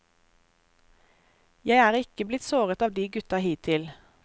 Jeg er ikke blitt såret av de gutta hittil.